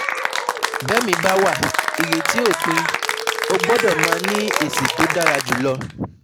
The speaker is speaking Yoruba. Bẹ́mìí bá wà ìrètí ò pin, o gbọ́dọ̀ máa ní èsì tó dára jùlọ,